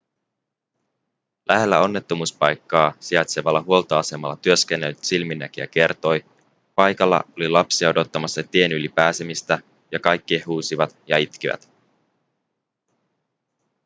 lähellä onnettomuuspaikkaa sijaitsevalla huoltoasemalla työskennellyt silminnäkijä kertoi paikalla oli lapsia odottamassa tien yli pääsemistä ja kaikki he huusivat ja itkivät